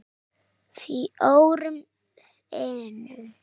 Fjórum sinnum